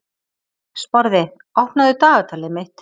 Sporði, opnaðu dagatalið mitt.